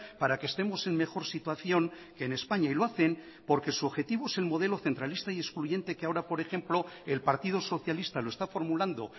para que estemos en mejor situación que en españa y lo hacen porque su objetivo es el modelo centralista y excluyente que ahora por ejemplo el partido socialista lo está formulando